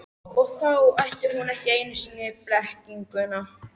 Og þá ætti hún ekki einu sinni blekkinguna.